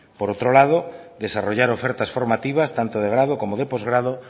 por otro lado desarrollar ofertas formativas tanto de grado como de postgrado